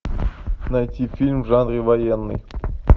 найти фильм в жанре военный